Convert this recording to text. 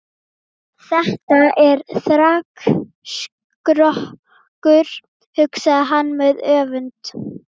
Þetta er þrekskrokkur, hugsaði hann með öfund.